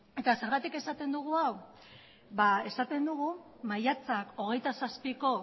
eta zergatik esaten dugu hau ba esaten dugu maiatzak hogeita zazpiko